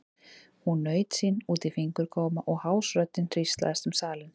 Hún naut sín út í fingurgóma og hás röddin hríslaðist um salinn.